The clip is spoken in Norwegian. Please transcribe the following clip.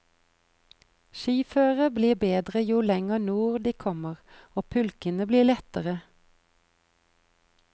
Skiføret blir bedre jo lenger nord de kommer og pulkene blir lettere.